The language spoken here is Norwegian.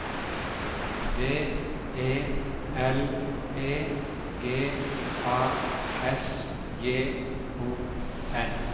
D E L E G A S J O N